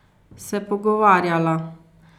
Se pogovarjala.